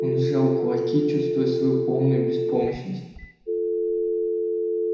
он сжал кулаки чувствуя свою полную беспомощность